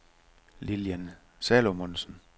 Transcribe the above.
Lilian Salomonsen